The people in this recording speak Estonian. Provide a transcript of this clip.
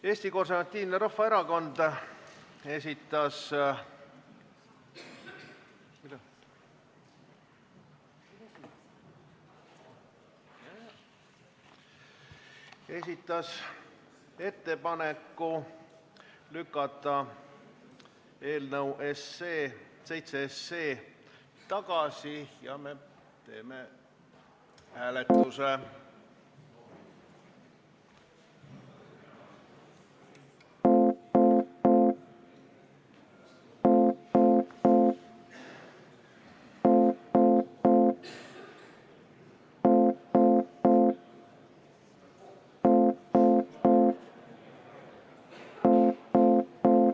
Eesti Konservatiivne Rahvaerakond esitas ettepaneku lükata 7 SE tagasi ja me teeme hääletuse.